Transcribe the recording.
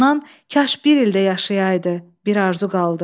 Ondan kaş bir il də yaşayaydı, bir arzu qaldı.